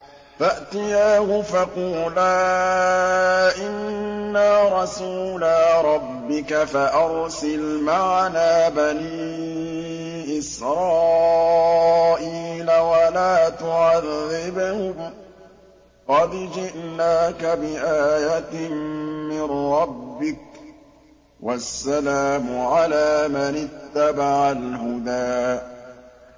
فَأْتِيَاهُ فَقُولَا إِنَّا رَسُولَا رَبِّكَ فَأَرْسِلْ مَعَنَا بَنِي إِسْرَائِيلَ وَلَا تُعَذِّبْهُمْ ۖ قَدْ جِئْنَاكَ بِآيَةٍ مِّن رَّبِّكَ ۖ وَالسَّلَامُ عَلَىٰ مَنِ اتَّبَعَ الْهُدَىٰ